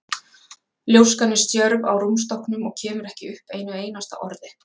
Ljóskan er stjörf á rúmstokknum og kemur ekki upp einu einasta orði.